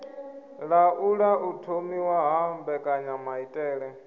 laula u thomiwa ha mbekanyamaitele